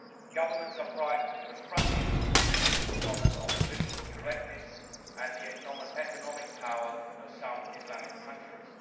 Governments are frightened to confront it because of political correctness and the economic power of some Islamic countries.